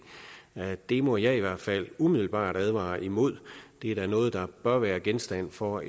det må jeg i hvert fald umiddelbart advare imod det er da noget der bør være genstand for